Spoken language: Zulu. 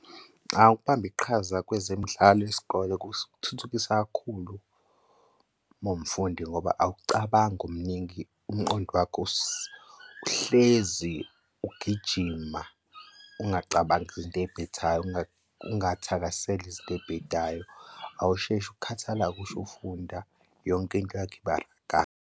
Ukubamba iqhaza kwezemidlalo yesikole kuthuthukisa kakhulu uma uwumfundi ngoba awucabangi omningi umqondo wakho uhlezi ugijima ungacabangi izinto ey'bhedayo ungathakaseli izinto ey'bhedayo awusheshi ukukhathala ngisho ufunda yonke into yakho iba kahle.